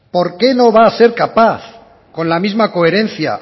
por qué no va a ser capaz con la misma coherencia